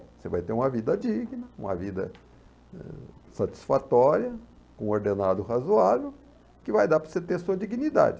Você vai ter uma vida digna, uma vida eh satisfatória, com um ordenado razoável, que vai dar para você ter sua dignidade.